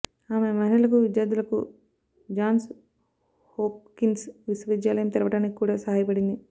ఆమె మహిళలకు విద్యార్థులకు జాన్స్ హోప్కిన్స్ విశ్వవిద్యాలయం తెరవడానికి కూడా సహాయపడింది